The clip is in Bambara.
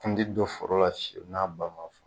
I kun tɛ dɔ foro la fiyewu n'a ba ma fa.